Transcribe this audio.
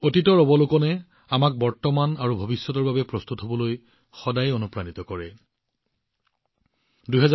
অতীতৰ পৰ্যৱেক্ষণে আমাক বৰ্তমান আৰু ভৱিষ্যতৰ প্ৰস্তুতিৰ বাবে সদায় অনুপ্ৰেৰণা দিয়ে